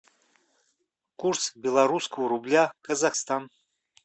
курс белорусского рубля казахстан